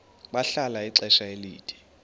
bahlala ixesha elide